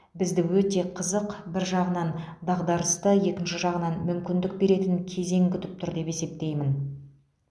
бізді өте қызық бір жағынан дағдарысты екінші жағынан мүмкіндік беретін кезең күтіп тұр деп есептеймін